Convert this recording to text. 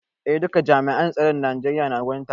Eh duka jami'an tsaron Najeriya na wurin taron.